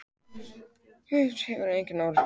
Viðræður hafa engan árangur borið.